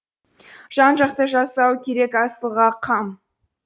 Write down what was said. жан жақты жасау керек асылға қам